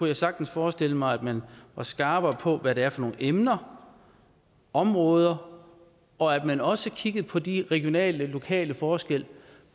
jeg sagtens forestille mig at man var skarpere på hvad det er for nogle emner og områder og at man også kiggede på de regionale og lokale forskelle